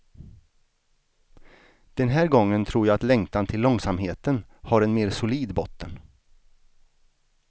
Den här gången tror jag att längtan till långsamheten har en mer solid botten.